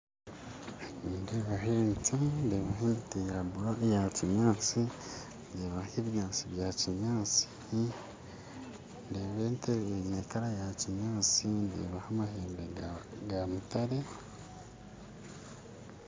Nindeeba ente ya kinyatsi ndeebaho ebinyatsi bya kinyatsi ndeebaho amahembe ga mutare